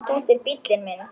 Þetta er bíllinn minn